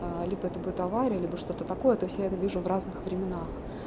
либо это будет авария либо что-то такое то есть я это вижу в разных временах